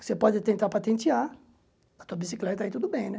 Você pode tentar patentear, a tua bicicleta aí tudo bem, né?